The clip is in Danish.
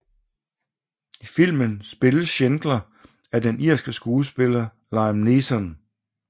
I filmen spilles Schindler af den irske skuespiller Liam Neeson